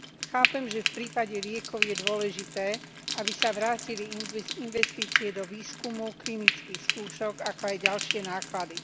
Chápem, že v prípade liekov je dôležité, aby sa vrátili investície do výskumu, klinických skúšok, ako aj ďalšie náklady.